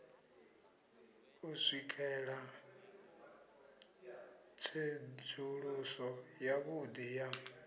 u swikela tsedzuluso yavhudi ya